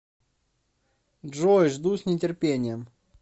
джой жду с нетерпением